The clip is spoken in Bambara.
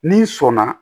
N'i sɔnna